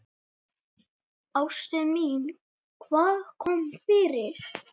Ástin mín, hvað kom fyrir?